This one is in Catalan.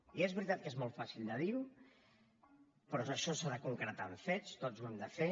i és veritat que és molt fàcil de dir però això s’ha de concretar en fets tots ho hem de fer